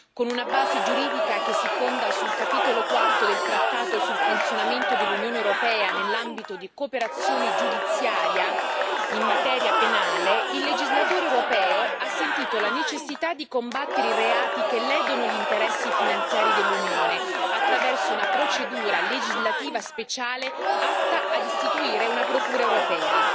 Con una base giuridica che si fonda sul capitolo quarto del Trattato sul funzionamento dell'Unione europea nell'ambito di cooperazione giudiziaria in materia penale, il legislatore europeo ha sentito la necessità di combattere i reati che ledono gli interessi finanziari dell'Unione, attraverso una procedura legislativa speciale, atta ad istituire una Procura europea.